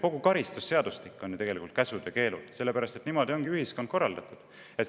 Kogu karistusseadustik on tegelikult käske ja keelde täis, sest niimoodi ühiskonda korraldataksegi.